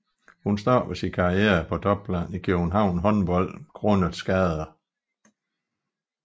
Hun stoppede sin karriere på topplan i København Håndbold grundet skader